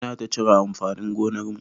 Muna ta cire amfanin gonar mu.